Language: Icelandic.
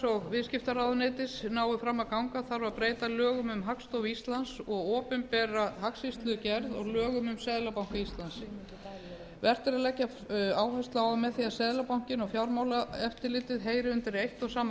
og viðskiptaráðuneytis nái fram að ganga þarf að breyta lögum um hagstofu íslands og opinbera hagsýslugerð og lögum um seðlabanka íslands vert er að leggja áherslu á að með því að seðlabankinn og fjármálaeftirlitið heyri undir eitt og sama